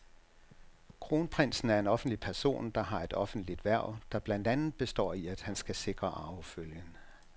Kronprinsen er en offentlig person, der har et offentligt hverv, der blandt andet består i, at han skal sikre arvefølgen.